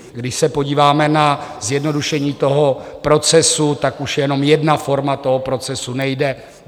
Když se podíváme na zjednodušení toho procesu, tak už jenom jedna forma toho procesu nejde.